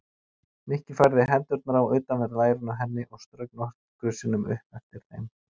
Nikki færði hendurnar á utanverð lærin á henni og strauk nokkrum sinnum upp eftir þeim.